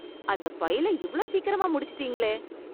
அந்த ஃபைல் இவ்ளோ சீக்கிரமா முடிச்சிட்டீங்களே!